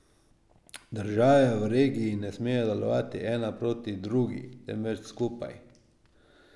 Države v regiji ne smejo delovati ena proti drugi, temveč skupaj.